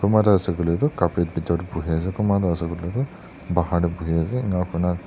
ase koile tu carpet bithor teh bohi ase kunba tu ase koi ley tu bahar teh bohi ase ena koina.